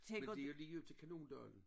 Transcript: Men det jo lige ud til Kanondalen